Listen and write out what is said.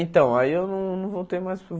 Então, aí eu não não voltei mais para o.